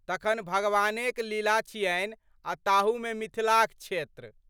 तखन भगवानेक लीला छियनि आ ताहूमे मिथिलाक क्षेत्र।